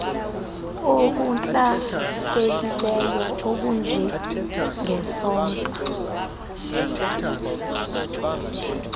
okuntlakekileyo okunje ngesonka